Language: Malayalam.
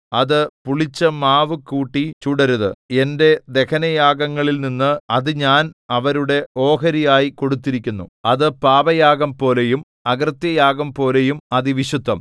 അത് പുളിച്ച മാവു കൂട്ടി ചുടരുത് എന്റെ ദഹനയാഗങ്ങളിൽനിന്ന് അത് ഞാൻ അവരുടെ ഓഹരിയായി കൊടുത്തിരിക്കുന്നു അത് പാപയാഗംപോലെയും അകൃത്യയാഗംപോലെയും അതിവിശുദ്ധം